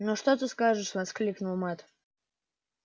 ну что ты скажешь воскликнул мэтт